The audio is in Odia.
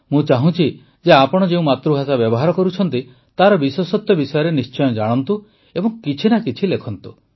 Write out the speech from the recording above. ମୁଁ ଚାହୁଁଛି ଯେ ଆପଣ ଯେଉଁ ମାତୃଭାଷା ବ୍ୟବହାର କରୁଛନ୍ତି ତାର ବିଶେଷତ୍ୱ ବିଷୟରେ ନିଶ୍ଚୟ ଜାଣନ୍ତୁ ଏବଂ କିଛି ନା କିଛି ଲେଖନ୍ତୁ